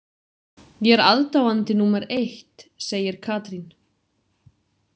Ég er aðdáandi númer eitt, segir Katrín.